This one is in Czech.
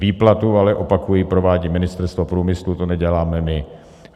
Výplatu ale, opakuji, provádí Ministerstvo průmyslu, to neděláme my.